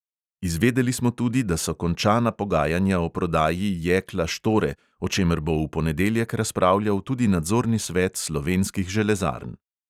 Izvedeli smo tudi, da so končana pogajanja o prodaji jekla štore, o čemer bo v ponedeljek razpravljal tudi nadzorni svet slovenskih železarn.